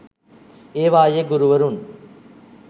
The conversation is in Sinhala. ඒවායේ ගුරුවරුන්